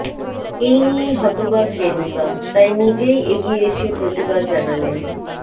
এই নিয়েই হতবাক রেনুকা তাই নিজেই এগিয়ে এসে প্রতিবাদ জানালেন